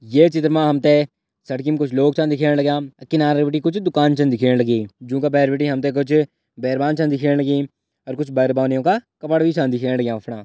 ये चित्र मा हमते सड़की म कुछ लोग छिन दिख्याण लाग्यां किनारा भीटे कुछ दुकान छिन दिख्याण लगीं जुनका बैहर भीटे हमते कुछ बैरबान छन दिख्याण लगीं और कुछ बैर-बानीयों का कपडा भी छन दिख्याण लाग्यां अफणा।